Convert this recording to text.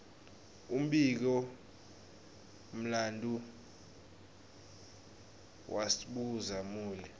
umbiko mlanduo wasdbhuza mule